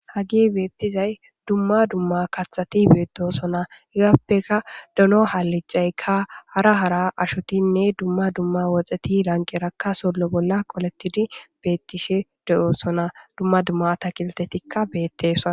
Haggey bettizay dumma dumma kaththeti bettossonna haggappekka dono haliccaykka hara hara ashotinne woxetti lanqerakka solo bolla qollettidi beettishe deyosonna dumma dumma atatkiltetikka bettossonna